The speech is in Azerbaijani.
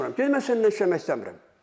Dedim mən səninlə işləmək istəmirəm.